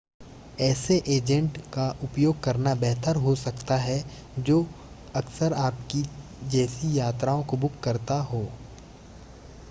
ऐसे एजेंट का उपयोग करना बेहतर हो सकता है जो अक्सर आपकी जैसी यात्राओं को बुक करता हो